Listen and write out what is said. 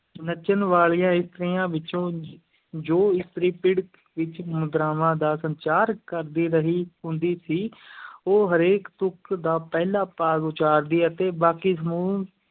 ਨੱਚਣ ਵਾਲੀਆਂ ਇਸਤਰੀਆਂ ਵਿੱਚੋਂ ਜੋ ਇਸਤਰੀ ਪਿੜ ਵਿੱਚ ਮੁਦਰਾਵਾਂ ਦਾ ਸੰਚਾਰ ਕਰਦੀ ਰਹੀ ਹੁੰਦੀ ਸੀ ਉਹ ਹਰੇਕ ਤੁਕ ਦਾ ਪਹਿਲਾ ਭਾਗ ਉਚਾਰਦੀ ਅਤੇ ਬਾਕੀ ਸਮੂਹ